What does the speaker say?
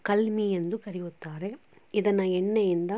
ಕಲಮಿ ಎಂದು ಕರೆಯುತ್ತಾರೆ. ಇದನ್ನ ಎಣ್ಣೆಯಿಂದ--